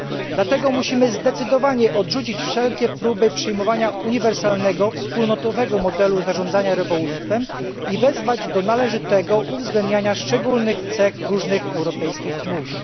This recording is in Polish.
Dlatego musimy zdecydowanie odrzucić wszelkie próby przyjmowania uniwersalnego, wspólnego modelu zarządzania rybołówstwem i wezwać do należytego uwzględniania szczególnych cech różnych europejskich mórz.